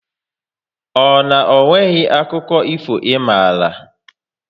Ọ na onweghi akụkọ ifo ị mara?